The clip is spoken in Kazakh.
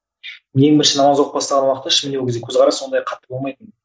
ең бірінші намаз оқып бастаған уақытта ешкімде ол кезде көзқарас сондай қатты болмайтын